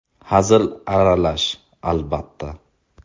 Hazil aralash, albatta.